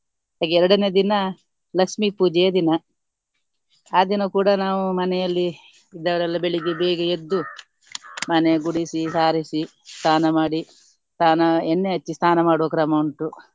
ಹಾಗೆ ಎರಡನೇ ದಿನ ಲಕ್ಷ್ಮಿ ಪೂಜೆಯ ದಿನ. ಆ ದಿನ ಕೂಡ ನಾವು ಮನೆಯಲ್ಲಿ ಇದ್ದವರೆಲ್ಲ ಬೆಳಿಗ್ಗೆ ಬೇಗ ಎದ್ದು ಮನೆ ಗುಡಿಸಿ ಸಾರಿಸಿ ಸ್ನಾನ ಮಾಡಿ ಸ್ನಾನ ಎಣ್ಣೆ ಹಚ್ಚಿ ಸ್ನಾನ ಮಾಡುವ ಕ್ರಮ ಉಂಟು.